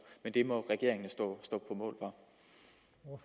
men det må regeringen jo stå